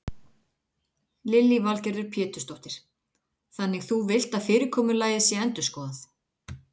Lillý Valgerður Pétursdóttir: Þannig þú villt að fyrirkomulag sé endurskoðað?